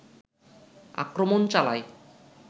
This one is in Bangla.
আক্রমণ চালায়